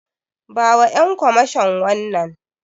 Bawa Ƴan kwamashon wannan.